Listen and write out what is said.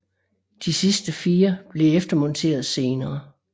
De sidste fire blev eftermonteret senere